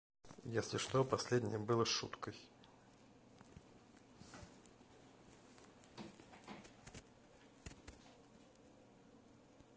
если что последнее было шуткой